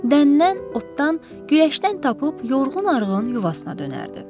Dəndən, otdan, güləşdən tapıb yorğun-arğın yuvasına dönərdi.